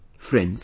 Friends,